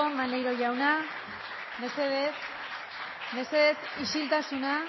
maeztu jauna isiltasuna